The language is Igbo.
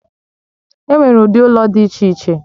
Enwere ụdị ụlọ dị iche iche